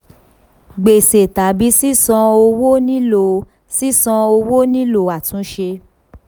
gbèsè tàbí sisan owó nílò sisan owó nílò àtúnṣe.